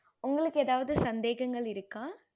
உங்களுக்கு எதாவது சந்தேகங்கள் இருக்க